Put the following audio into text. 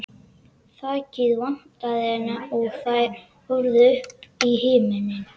Þakið vantaði enn og þær horfðu upp í himininn.